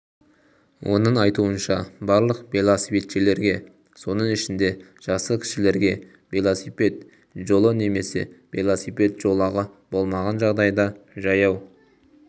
оның айтуынша барлық велосипедшілерге соның ішінде жасы кішілерге велосипед жолы немесе велосипед жолағы болмаған жағдайда жаяу